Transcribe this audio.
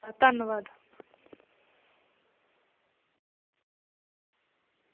ਆ ਧੰਨਵਾਦ।